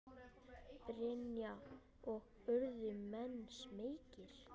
Brynja: Og urðu menn smeykir?